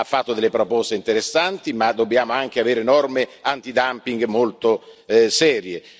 Ha fatto delle proposte interessanti, ma dobbiamo anche avere norme antidumping molto serie.